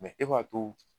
e b'a to